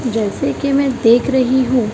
जैसे कि मैं देख रही हूं--